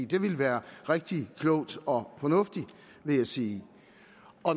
det ville være rigtig klogt og fornuftigt vil jeg sige